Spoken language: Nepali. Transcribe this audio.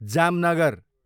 जामनगर